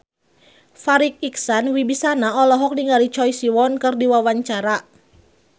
Farri Icksan Wibisana olohok ningali Choi Siwon keur diwawancara